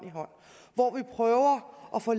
hvor vi prøver at få